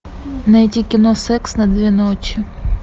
найди кино секс на две ночи